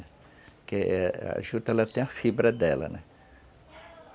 Porque, é, a juta, ela tem a fibra dela, né?